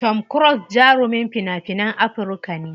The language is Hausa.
Tom cruse jarumin fina finan Amurka ne.